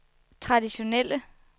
traditionelle